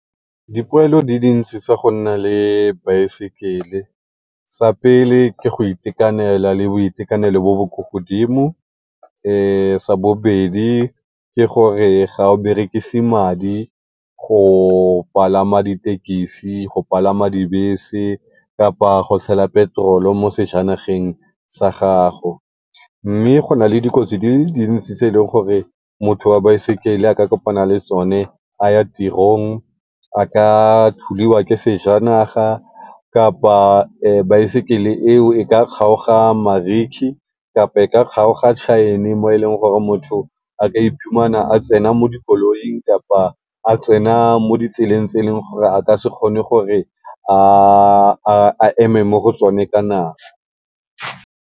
Dipoelo di dintsi tsa go nna le baesekele sa pele ke go itekanela le boitekanelo bo bo ko godimo, sa bobedi ke gore ga o berekise madi go palama dithekesi, go palama dibese kgotsa go tshela petrol mo sejanageng sa gago. Mme go na le dikotsi di le dintsi tse e leng gore motho wa baesekele a ka kopana le tsone a ya tirong. A ka thudiwa ke sejanaga kapa baesekele eo e ka kgaoga mariki kapa e ka kgaoga mo e leng gore motho a ka a tsena mo dikoloing kapa a tsena mo ditseleng tse e leng gore a eme mo go tsone ka nako.